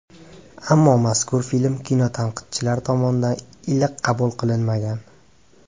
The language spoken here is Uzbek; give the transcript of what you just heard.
Ammo mazkur film kinotanqidchilar tomonidan iliq qabul qilinmagan.